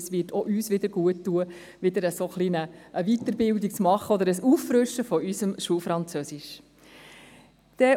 Es wird uns nämlich guttun, eine Weiterbildung zu machen oder unser Schulfranzösisch aufzufrischen.